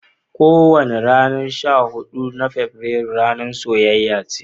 Kowani ranan sha hudu na Fabrairu ranan soyayya ne.